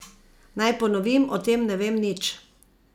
Naj ponovim, o tem ne vem nič.